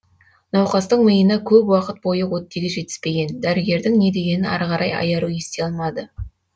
науқастың миына көп уақыт бойы оттегі жетіспеген дәрігердің не дегенін ары қарай айару ести алмады